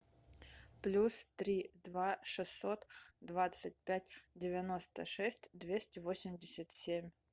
плюс три два шестьсот двадцать пять девяносто шесть двести восемьдесят семь